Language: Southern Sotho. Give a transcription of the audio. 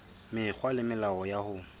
mekgwa le melao ya ho